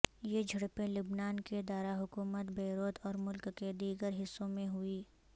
یہ جھڑپیں لبنان کے داراحکومت بیروت اور ملک کے دیگر حصوں میں ہوئی